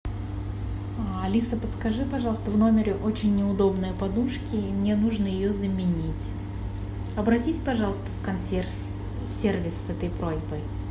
алиса подскажи пожалуйста в номере очень неудобные подушки и мне нужно ее заменить обратись пожалуйста в консьерж сервис с этой просьбой